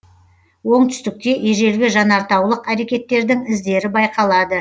оңтүстікте ежелгі жанартаулық әрекеттердің іздері байқалады